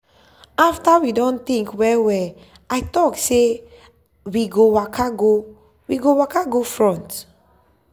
after we do think well well i talk say i we go waka we go waka go front.